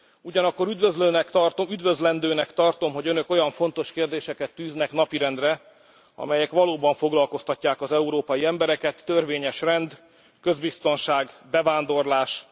Ugyanakkor üdvözlendőnek tartom, hogy Önök olyan fontos kérdéseket tűznek napirendre, amelyek valóban foglalkoztatják az európai embereket törvényes rend, közbiztonság, bevándorlás.